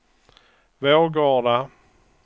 Vårgårda